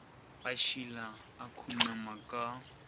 a šila o khunama ka